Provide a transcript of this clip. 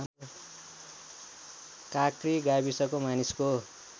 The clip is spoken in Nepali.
काँक्री गाविसको मानिसको